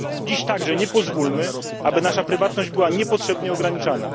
Dziś także nie pozwólmy, aby nasza prywatność była niepotrzebnie ograniczana.